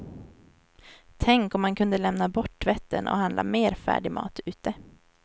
Tänk om man kunde lämna bort tvätten, och handla mer färdig mat ute.